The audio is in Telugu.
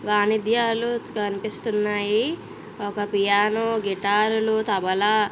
వాయిద్యాలు కనిపిస్తున్నాయి. ఒక పియానో గిటార్లు తబలా --